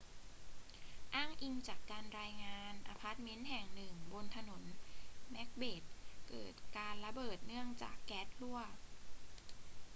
อ้างอิงจากการรายงาน อพาร์ทเมนต์แห่งหนึ่งบนถนนเม็กเบธเกิดการระเบิดเนื่องจากแก๊สรั่ว